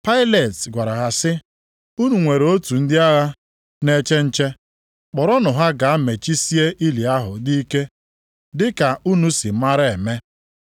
Pailet gwara ha sị, “Unu nwere otu ndị agha na-eche nche, kpọrọnụ ha gaa mechisie ili ahụ ike dị ka unu si maara eme.”